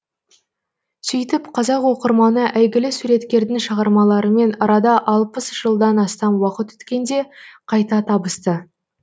сөйтіп қазақ оқырманы әйгілі суреткердің шығармаларымен арада алпыс жылдан астам уақыт өткенде қайта табысты